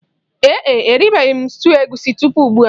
Ee e, eribeghi m stuuyu egusi tupu ugbua